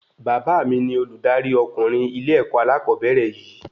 Bàbá mí ní oludari ọkunrin ilé-èkó alakobere yìí